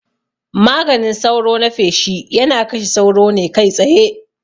Maganin sauro na feshi yana kashe sauro ne kai tsaye